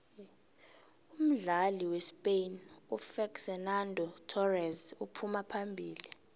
umdlali wespain ufexenando thorese uphuma phambili